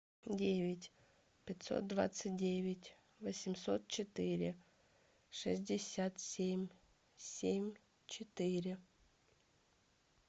девять пятьсот двадцать девять восемьсот четыре шестьдесят семь семь четыре